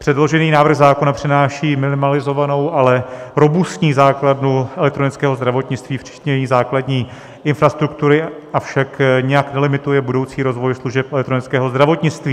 Předložený návrh zákona přináší minimalizovanou, ale robustní základnu elektronického zdravotnictví včetně její základní infrastruktury, avšak nijak nelimituje budoucí rozvoj služeb elektronického zdravotnictví.